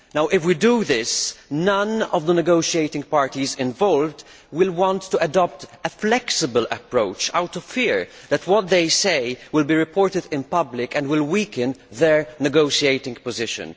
Now, if we do this, none of the negotiating parties involved will want to adopt a flexible approach for fear that what they say will be reported in public and will weaken their negotiating position.